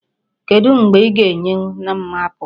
Kedụ mgbe ị ga-enye m apple?